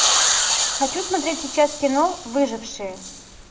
хочу смотреть сейчас кино выжившие